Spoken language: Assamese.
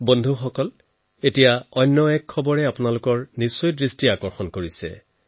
বন্ধুসকল বৰ্তমান এনে আন এটা খবৰৰ প্ৰতি আপোনালোকে নিশ্চয় দৃষ্টি গৈছে